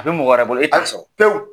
A bɛ mɔgɔ wɛrɛ bolo pewu.